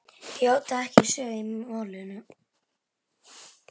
játaði ekki sök í málinu.